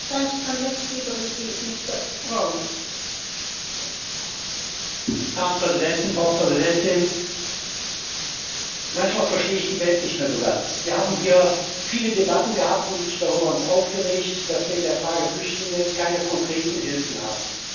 Herren Präsidenten, Frau Präsidentin! Manchmal verstehe ich die Welt nicht mehr so ganz Wir haben hier viele Debatten gehabt und uns darüber aufgeregt, dass wir in der Frage der Flüchtlinge keine konkreten Hilfen haben, dass unser Hauptjob ist, uns darum zu kümmern, dass den Menschen, die auf der Flucht sind, geholfen wird.